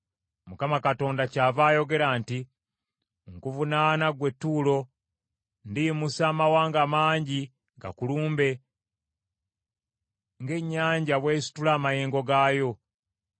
Mukama Katonda kyava ayogera nti, Nkuvunaana ggwe Ttuulo, ndiyimusa amawanga mangi gakulumbe, ng’ennyanja bw’esitula amayengo gaayo.